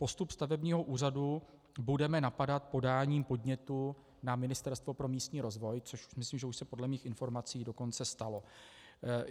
Postup stavebního úřadu budeme napadat podáním podnětu na Ministerstvo pro místní rozvoj, což myslím, že už se podle mých informací dokonce stalo.